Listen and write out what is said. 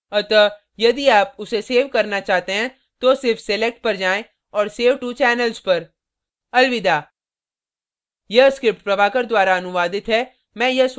अतः यदि आप उसे so करना चाहते हैं तो सिर्फ select पर जाएँ और save to channels पर